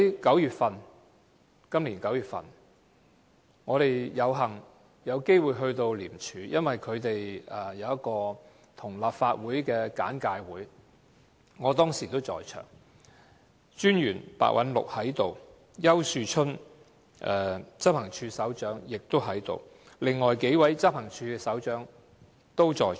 今年9月，我們有幸有機會到廉署，因為有一個跟立法會安排的簡介會，我當時也在場，廉政專員白韞六也在場，執行處首長丘樹春也在場，另外數位執行處的處長都在場。